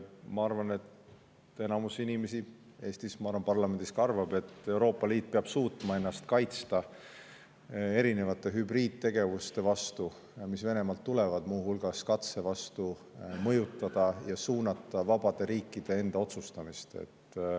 Ma arvan, et enamik inimesi Eestis ja ka parlamendis arvab, et Euroopa Liit peab suutma ennast kaitsta erinevate Venemaalt tulevate hübriidtegevuste eest, muu hulgas katsete eest mõjutada ja suunata vabade riikide enda otsustamist.